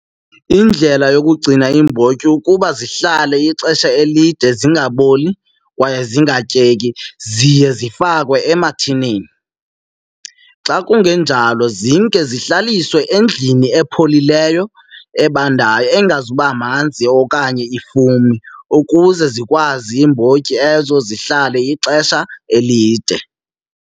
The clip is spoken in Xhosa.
Indlela yokugcina iimbotyi ukuba zihlale ixesha elide zingaboli kwaye zingatyeki, ziye zifakwe emathinini. Xa kungenjalo zimke zihleliwe endlini epholileyo, ebandayo, engazubamanzi okanye ifume ukuze zikwazi iimbotyi ezo zihlale ixesha elide.